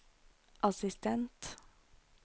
assistent